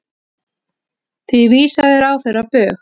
Því vísaði ráðherra á bug.